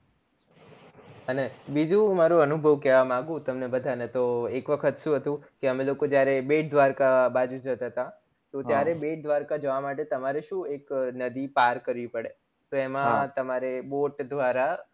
અને બીજું મારું અનુભવ કેવા માંગું છુ તમને બધા ને તો એક વખત શું હતું કે અમે લોકો જયારે બેટદ્વારકા બાજુ જતા હતા તો ત્યારે બેટદ્વારકા જવા માટે શું એક નદી પર કરવી પડે તો એમાં તમારે boat દ્વારા